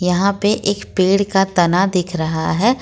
यहां पे एक पेड़ का तना दिख रहा है।